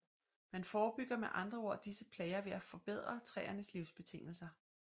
Man forebygger med andre ord disse plager ved at forbedre træernes livsbetingelser